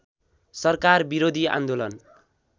सरकार विरोधी आन्दोलन